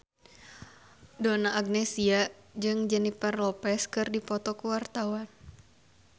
Donna Agnesia jeung Jennifer Lopez keur dipoto ku wartawan